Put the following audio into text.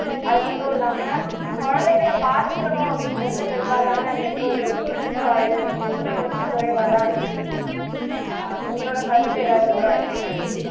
அது மட்டும் இல்லாம குழந்தைங்களை பாத்துக்கணும் அப்படின்றதுல பெரும்பாலான பெற்றோர்களுக்கு ஈடுபாடு அப்படின்றது கொஞ்சம் குறைவா தான் இருக்கு தீனா ஆஹ் உங்களோட கருத்து எதாவது இருக்கா இசைவாணி